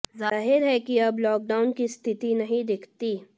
जाहिर है कि अब लॉकडाउन की स्थिति नहीं दिखती